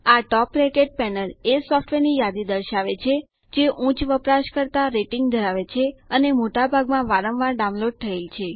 આ top rated panel એ software ની યાદી દર્શાવે છે જે ઉચ્ચ વપરાશકર્તા રેટિંગ ધરાવે છે અને મોટા ભાગમાં વારંવાર ડાઉનલોડ થયેલ છે